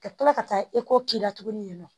Ka kila ka taa k'i la tuguni yen nɔ